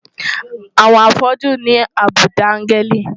Àwọn afọ́jú ní àbùdá áńgẹ́lì.